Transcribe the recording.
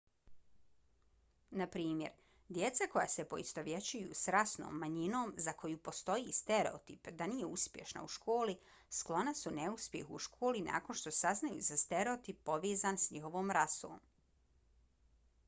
na primjer djeca koja se poistovjećuju s rasnom manjinom za koju postoji stereotip da nije uspješna u školi sklona su neuspjehu u školi nakon što saznaju za stereotip povezan s njihovom rasom